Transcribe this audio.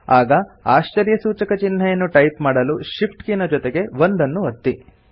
ಆಗ ಆಶ್ಚರ್ಯಸೂಚಕ ಚಿಹ್ನೆಯನ್ನು ಟೈಪ್ ಮಾಡಲು Shift ಕೀನ ಜೊತೆಗೆ 1 ಅನ್ನು ಒತ್ತಿ